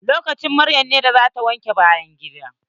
Lokacin maryam ne da zata wanke bayan gida.